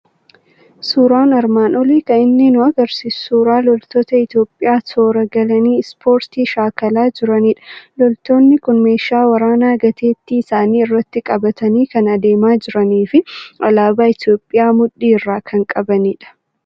Suuraan armaan olii kan inni nu argisiisu suuraa loltoota Itoophiyaa, toora galanii ispoortii shaakalaa jiranidha. Loltoonni kun meeshaa waraanaa gateettii isaanii irratti qabatanii kan adeemaa jiranii fi alaabaa Itoophiyaa mudhii irraa kan qabanidha.